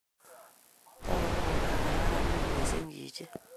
Tagu ko kararan missing' chi chi